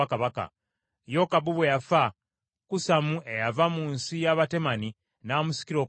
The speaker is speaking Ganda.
Yokabu bwe yafa, Kusamu eyava mu nsi y’Abatemani, n’amusikira okuba kabaka.